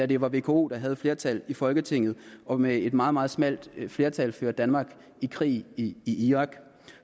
det var vko der havde flertallet i folketinget og med et meget meget smalt flertal førte danmark i krig i irak